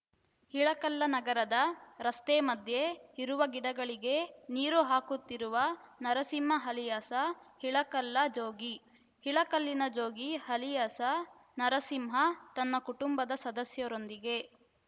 ಇಳಕಲ್ಲ ನಗರದ ರಸ್ತೆ ಮಧ್ಯೆ ಇರುವ ಗಿಡಗಳಿಗೆ ನೀರು ಹಾಕುತ್ತಿರುವ ನರಸಿಂಹ ಅಲಿಯಾಸ ಇಳಕಲ್ಲ ಜೋಗಿ ಇಳಕಲ್ಲಿನ ಜೋಗಿ ಅಲಿಯಾಸ ನರಸಿಂಹ ತನ್ನ ಕುಟುಂಬ ಸದಸ್ಯರೊಂದಿಗೆ